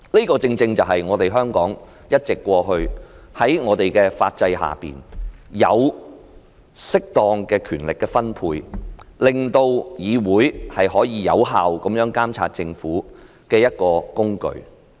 這正正是香港過去一直在法制下作出的適當權力分配，也是令議會可有效監察政府的一個工具。